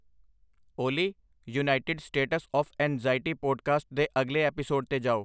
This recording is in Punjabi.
ਓਲੀ United States of anxiety podcast ਦੇ ਅਗਲੇ ਐਪੀਸੋਡ 'ਤੇ ਜਾਓ